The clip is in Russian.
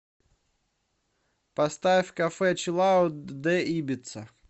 поставь кафе чилаут дэ ибица